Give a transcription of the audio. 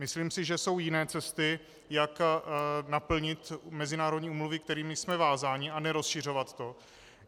Myslím si, že jsou jiné cesty, jak naplnit mezinárodní úmluvy, kterými jsme vázáni, a nerozšiřovat to.